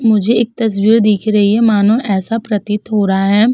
मुझे एक तस्वीर दिख रही है। मानो ऐसा प्रतीत हो रहा है --